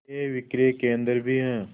के विक्रय केंद्र भी हैं